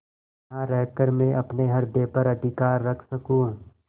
यहाँ रहकर मैं अपने हृदय पर अधिकार रख सकँू